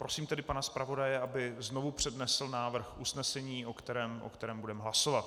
Prosím tedy pana zpravodaje, aby znovu přednesl návrh usnesení, o kterém budeme hlasovat.